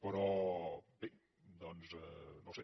però bé doncs no sé